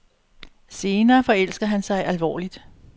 Senere forelsker han sig alvorligt.